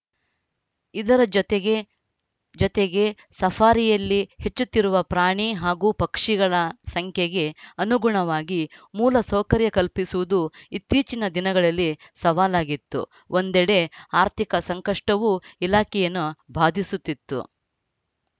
ಇದರ ಜೊತೆಗೆ ಜೊತೆಗೆ ಸಫಾರಿಯಲ್ಲಿ ಹೆಚ್ಚುತ್ತಿರುವ ಪ್ರಾಣಿ ಹಾಗೂ ಪಕ್ಷಿಗಳ ಸಂಖ್ಯೆಗೆ ಅನುಗುಣವಾಗಿ ಮೂಲ ಸೌಕರ್ಯ ಕಲ್ಪಿಸುವುದು ಇತ್ತೀಚಿನ ದಿನಗಳಲ್ಲಿ ಸವಾಲಾಗಿತ್ತು ಒಂದೆಡೆ ಆರ್ಥಿಕ ಸಂಕಷ್ಟವೂ ಇಲಾಖೆಯನ್ನು ಬಾಧಿಸುತ್ತಿತ್ತು